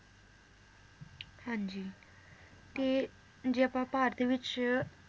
ਹਾਂਜੀ ਤੇ ਜੇ ਆਪਾਂ ਭਾਰਤ ਵਿਚ